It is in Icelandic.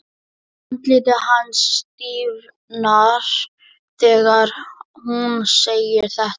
Andlit hans stífnar þegar hún segir þetta.